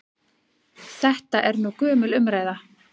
Þetta er nú gömul umræða.